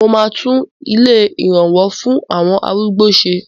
Mo máa tún ilé ìrànwó fún àwọn arúgbó ṣe.